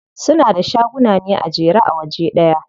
Suna da shaguna ne a jere a waje ɗaya.